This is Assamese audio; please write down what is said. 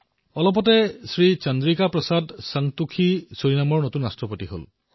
অলপতে শ্ৰী চন্দ্ৰিকা প্ৰসাদ সন্তোষী ছুৰিনামৰ নতুন ৰাষ্ট্ৰপতি হৈছে